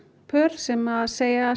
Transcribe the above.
pör sem segja